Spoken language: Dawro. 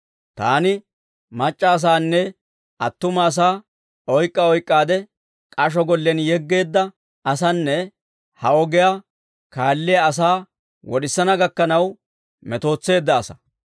Taani mac'c'a asaanne attuma asaa oyk'k'a oyk'k'aade k'asho gollen yeggeedda asaanne, ha ogiyaa kaalliyaa asaa wod'isana gakkanaw metootseedda asaa.